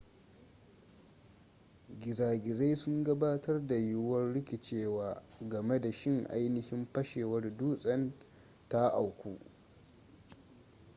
gizagizai sun gabatar da yiwuwar rikicewa game da shin ainihin fashewar dutsen ta auku